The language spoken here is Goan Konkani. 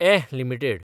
एह लिमिटेड